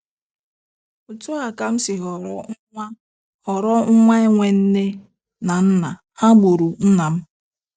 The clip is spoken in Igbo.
Otú a ka m siri ghọrọ nwa ghọrọ nwa enwe nne na nna,- ha gburu nna m.